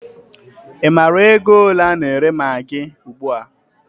Ị maara ego ole a na-ere magị ugbua?